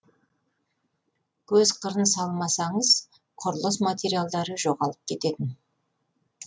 көз қырын салмасаңыз құрылыс материалдары жоғалып кететін